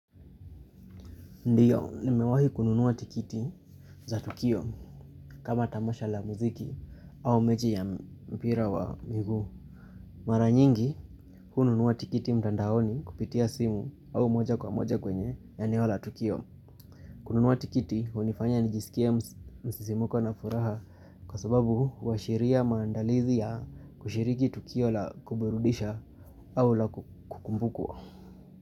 Ndiyo, nimewahi kununua tikiti za Tukio. Ndiyo, nimewahi kununua tikiti za Tukio. Mara nyingi, hununua tikiti mtandaoni kupitia simu au moja kwa moja kwenye eneo la tukio. Kununua tikiti, hunifanya nijisikie msisimuko na furaha kwa sababu huashiria maandalizi ya kushiriki Tukio la kuburudisha au la kukumbukwa.